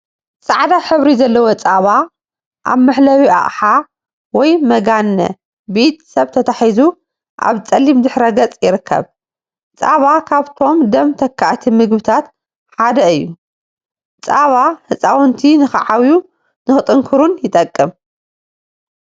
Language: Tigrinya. ፃዕዳ ሕብሪ ዘለዎ ፀባ አብ መሕለቢ አቅሓ/መጋነ/ ብኢደ ሰብ ተታሒዙ አብ ፀሊም ድሕረ ገፅ ይርከብ፡፡ ፀባ ካብቶም ደም ተካእቲ ምግቢታት ሓደ እዩ፡፡ ፀባ ህፃውንቲ ንክዓብዩ ንክጥንክሩን ይጠቅም፡፡